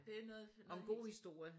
Det er noget noget